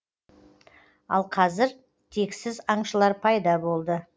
ал қазір тексіз аңшылыр пайда болды